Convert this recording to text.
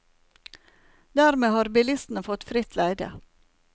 Dermed har bilistene fått fritt leide.